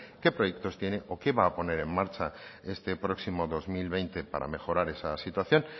qué proyectos tiene o qué va a poner en marcha este próximo dos mil veinte para mejorar esa situación